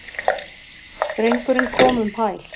Drengurinn kom um hæl.